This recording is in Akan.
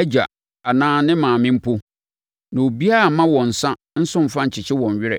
agya anaa ne maame mpo, na obiara mma wɔn nsã nso mfa nkyekye wɔn werɛ.